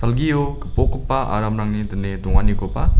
salgio gipokgipa aramrangni dine donganikoba--